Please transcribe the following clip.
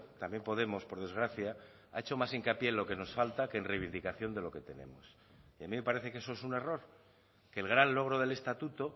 también podemos por desgracia ha hecho más hincapié en lo que nos falta que en reivindicación de lo que tenemos y a mí me parece que eso es un error que el gran logro del estatuto